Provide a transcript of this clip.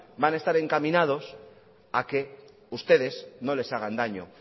van a estar encaminados a que ustedes no les hagan daño